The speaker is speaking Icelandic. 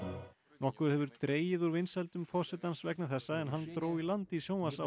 nokkuð hefur dregið úr vinsældum forsetans vegna þessa en hann dró í land í